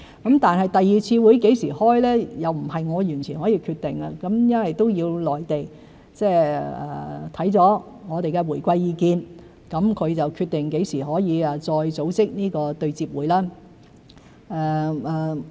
至於第二次會議何時舉行，不是我完全可以決定的，要由內地考慮我們的回饋意見後決定何時可以再組織對接會議。